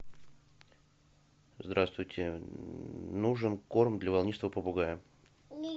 здравствуйте нужен корм для волнистого попугая